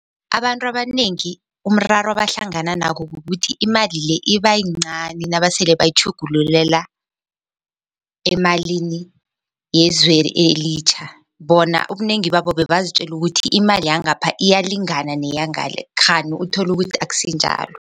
Abantu abanengi umraro abahlangana nako kukuthi imali le iba yincani nabasele bayitjhugululela emalini yezwe elitjha. Bona ubunengi babo bebazitjela ukuthi imali yangapha iyalingana neyangale kghani uthole ukuthi akusinjalo.